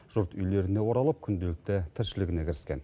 жұрт үйлеріне оралып күнделікті тіршілігіне кіріскен